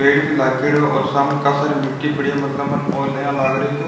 पेड़ भी लागेडो और सामने काशा सारी मिटटी पड़ी है मतलब मने ओ यान लाग रखयो --